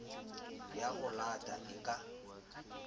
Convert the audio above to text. ya ho leta e ka